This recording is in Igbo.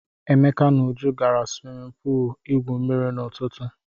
Emeka na Uju gara swimin puul igwu mmiri n'ụtụtụ.